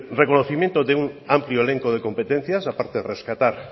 reconocimiento de un amplio elenco de competencias a parte de rescatar